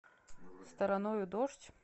стороною дождь